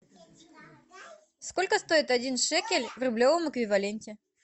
сколько стоит один шекель в рублевом эквиваленте